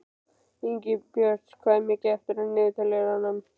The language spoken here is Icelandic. Ingibjört, hvað er mikið eftir af niðurteljaranum?